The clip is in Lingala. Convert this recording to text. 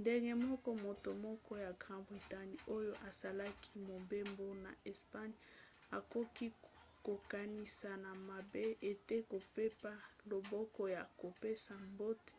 ndenge moko moto moko ya grande bretagne oyo asalaki mobembo na espagne akoki kokanisa na mabe ete kopepa loboko ya kopesa mbote